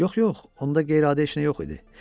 Yox, yox, onda qeyri-adi heç nə yox idi.